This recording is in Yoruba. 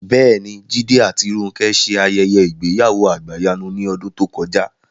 Bẹ́ẹ̀ni, Jídé àti Rónkẹ́ ṣe ayẹyẹ ìgbéyàwó àgbàyanu ní ọdún tó kọjá